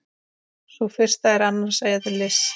Sú fyrsta er annars eðlis.